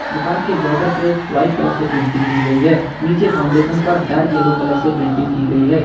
दुकान के बॉर्डर पे वाइट कलर से पेंटिंग की गई है नीचे फाउंडेशन पर डार्क येलो कलर से पेंटिंग की गई है।